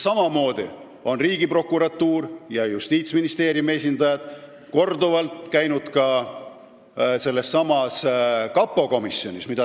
Samamoodi on Riigiprokuratuuri ja Justiitsministeeriumi esindajad korduvalt käinud kapo komisjonis.